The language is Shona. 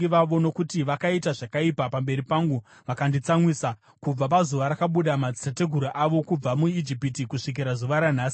nokuti vakaita zvakaipa pamberi pangu vakanditsamwisa kubva pazuva rakabuda madzitateguru avo kubva muIjipiti kusvikira zuva ranhasi.”